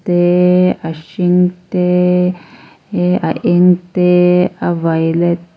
te a hring te a eng te a violet --